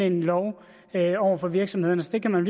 en lov over for virksomhederne så det kan man